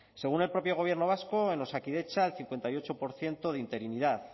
según el propio gobierno vasco en osakidetza el cincuenta y ocho por ciento de interinidad